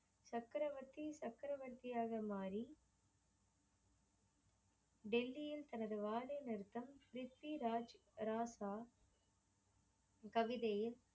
சக்கரவர்த்தி சக்ரவர்தியாக மாறி டெல்லியில் தனது வாழ்வை நிமிர்த்தம் ப்ரித்விராஜ் ராசா கவிதையை